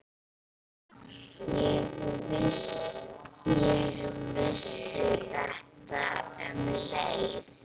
Ég vissi þetta um leið.